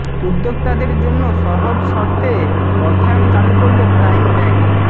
উদ্যোক্তাদের জন্য সহজ শর্তে অর্থায়ন চালু করল প্রাইম ব্যাংক